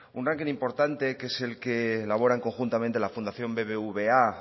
un ranking importante que es el que elaboran conjuntamente la fundación bbva